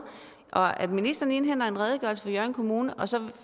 ministeren indhenter en redegørelse fra hjørring kommune og så